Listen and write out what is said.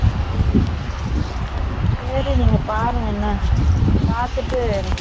சரி நீங்க பாருங்க, பாத்துட்டு கூபிடுங்க என